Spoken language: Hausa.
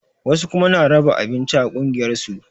Wasu kuma na raba abinci a ƙungiyar su